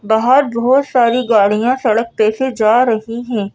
बाहर बहोत सारी गाड़ियां सड़क पे से जा रही हैं।